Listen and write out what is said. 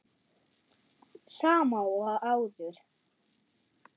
Sama og áður.